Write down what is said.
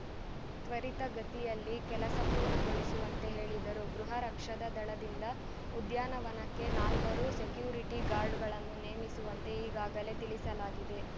ತ್ವರಿತಗತಿಯಲ್ಲಿ ಕೆಲಸ ಪೂರ್ಣಗೊಳಿಸುವಂತೆ ಹೇಳಿದರು ಗೃಹ ರಕ್ಷದ ದಳದಿಂದ ಉದ್ಯಾನವನಕ್ಕೆ ನಾಲ್ವರು ಸೆಕ್ಯೂರಿಟಿ ಗಾರ್ಡ್‌ಗಳನ್ನು ನೇಮಿಸುವಂತೆ ಈಗಾಗಲೇ ತಿಳಿಸಲಾಗಿದೆ